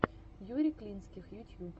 юрий клинских ютьюб